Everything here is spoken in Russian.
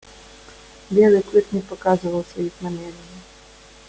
и белый клык не показывал своих намерений